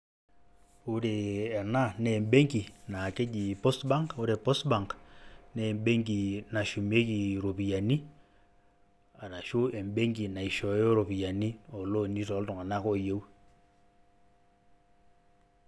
Ore ena naa embenki naake eji Post bank ore Post bank, naa embenki nashumieki iropiani arashu embenki naishooyo iropiani o loan i toltung'anak oyeu.